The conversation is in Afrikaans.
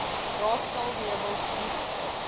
raadsaal meubels opgesaag